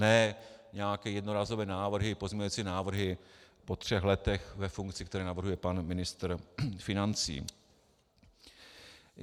Ne nějaké jednorázové návrhy, pozměňovací návrhy po třech letech ve funkci, které navrhuje pan ministr financí.